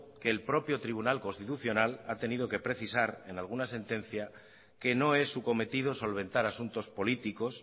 que el propio tribunal constitucional ha tenido que precisar en alguna sentencia que no es su cometido solventar asuntos políticos